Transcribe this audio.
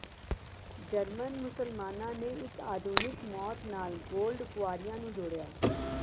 German ਮੁਸਲਮਾਨਾਂ ਨੇ ਇਕ ਆਧੁਨਿਕ ਮੌਤ ਨਾਲ ਗੋਲਡ ਕੁਆਰੀਆਂ ਨੂੰ ਜੋੜਿਆ